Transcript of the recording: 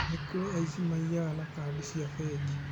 Nĩ kũrĩ aici maiyaga na kandi cia bengi